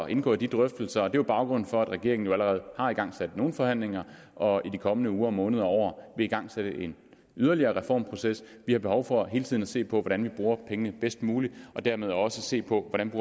indgå i de drøftelser det er jo baggrunden for at regeringen allerede har igangsat nogle forhandlinger og i de kommende uger og måneder og år vil igangsætte en yderligere reformproces vi har behov for hele tiden at se på hvordan vi bruger pengene bedst muligt og dermed også se på hvordan